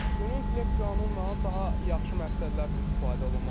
Süni intellekt qanunla daha yaxşı məqsədlər üçün istifadə olunmalıdır.